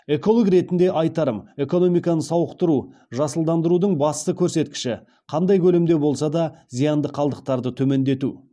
эколог ретінде айтарым экономиканы сауықтыру жасылдандырудың басты көрсеткіші қандай көлемде болса да зиянды қалдықтарды төмендету